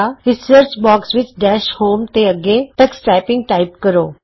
ਇਸ search box ਵਿਚ dash home ਤੋਂ ਅੱਗੇ ਟਕਸ ਟਾਈਪਿੰਗ ਟਾਈਪ ਕਰੋ